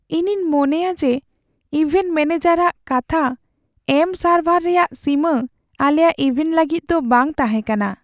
ᱤᱧᱤᱧ ᱢᱚᱱᱮᱭᱟ ᱡᱮ ᱤᱵᱷᱮᱱᱴ ᱢᱮᱱᱮᱡᱟᱨ ᱦᱟᱜ ᱠᱟᱛᱷᱟ ᱮᱢ ᱥᱟᱨᱵᱷᱟᱨ ᱨᱮᱭᱟᱜ ᱥᱤᱢᱟᱹ ᱟᱞᱮᱭᱟᱜ ᱤᱵᱷᱮᱱᱴ ᱞᱟᱹᱜᱤᱫ ᱫᱚ ᱵᱟᱝ ᱛᱟᱦᱮᱸ ᱠᱟᱱᱟ ᱾